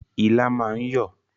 Ilá máa ń yọ̀